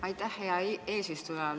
Aitäh, hea eesistuja!